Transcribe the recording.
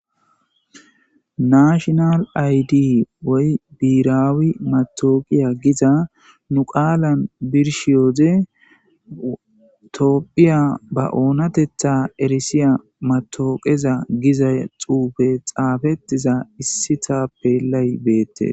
nashinal aydi woy biiraawi matooqiya giza nu qaalan birshiyooze toopphiya ba oonatetha erisiya matooqeza giza xuufe xaafettiza issitappelay beette